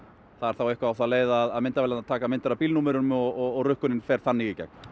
það er þá eitthvað á þá leið að myndavélar taka myndir af bílnúmerum og rukkunin fer þannig í gegn